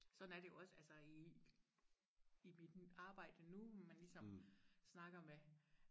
sådan er det jo også altså i i mit arbejde nu man ligesom snakker med